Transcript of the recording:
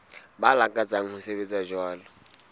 ba lakatsang ho sebetsa jwalo